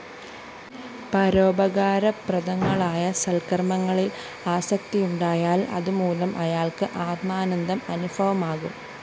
പരോപകാരപ്രദങ്ങളായ സല്‍ക്കര്‍മ്മങ്ങളില്‍ ആസക്തിയുണ്ടായാല്‍ അതുമൂലം അയാള്‍ക്ക് ആത്മാനന്ദം അനുഭവമാകും